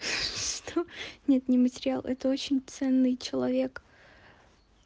нет не материал это очень ценный человек